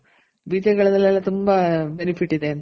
ಬೀಜಗಳಲ್ಲೆಲ್ಲ ತುಂಬ benefit ಇದೆ ಅಂತ .